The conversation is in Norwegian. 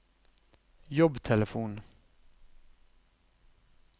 jobbtelefon